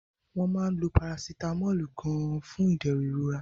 Wọ́n máa ń lo Parasitamọ́ọ̀lù gan-an fún ìdẹ̀rùn ìrora